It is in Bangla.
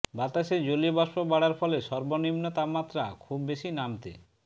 বাতাসে জলীয় বাষ্প বাড়ার ফলে সর্বনিম্ন তাপমাত্রা খুব বেশি নামতে